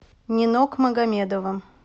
нинок магомедова